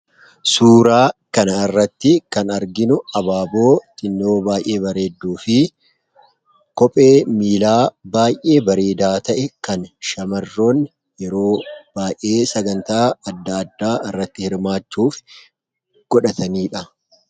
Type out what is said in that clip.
Suuraa kanarratti kan arginu abaaboo xinnoo baay'ee bareedduu fi kophee miilaa baay'ee bareeda ta'e kan shamarroonni yeroo baay'ee sagantaa adda addaa irratti hirmaachuuf godhatanidha.